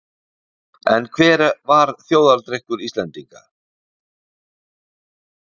En hver var þjóðardrykkur Íslendinga?